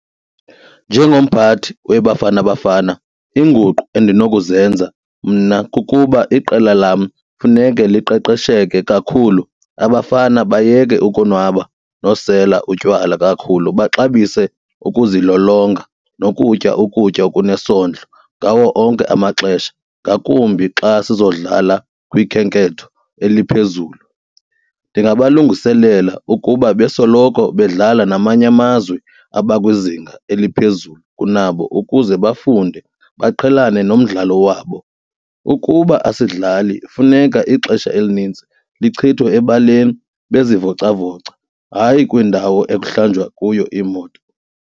Njengomphathi weBafana Bafana iinguqu endinokuzenza mna kukuba iqela lam funeke liqeqesheke kakhulu abafana bayeke ukunwaba nosela utywala kakhulu baxabise ukuzilolonga nokutya ukutya okunesondlo ngawo onke amaxesha ngakumbi xa sizodlala kwikhenketho eliphezulu. Ndingabalungiselela ukuba besoloko bedlala namanye amazwe abakwizinga eliphezulu kunabo ukuze bafunde baqhelane nomdlalo wabo. Ukuba asidlali funeka ixesha elinintsi lichithwe ebaleni bezivocavoca, hayi kwindawo ekuhlanjwa kuyo iimoto.